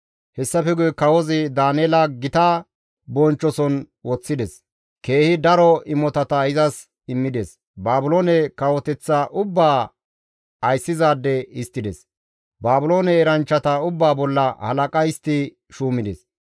Hessafe guye Kawozi Daaneela gita bonchchoson woththides; keehi daro imotata izas immides; Baabiloone kawoteththa ubbaa ayssizaade histtides; Baabiloone eranchchata ubbaa bolla halaqa histti shuumides.